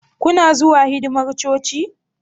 Kuna zuwa hidimar coci?